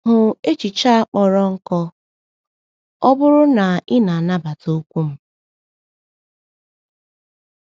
Hụ echiche a kpọrọ nkọ “ọ bụrụ na i nabata okwu m.”